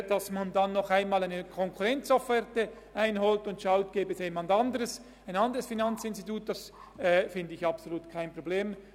Es ist absolut kein Problem, noch eine Konkurrenzofferte einzuholen und zu schauen, ob sich ein anderes Finanzinstitut finden liesse.